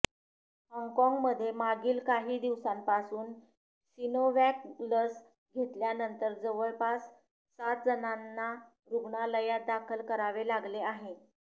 हाँगकाँगमध्ये मागील काही दिवसांपासून सिनोवॅक लस घेतल्यानंतर जवळपास सातजणांना रुग्णालयात दाखल करावे लागले आहे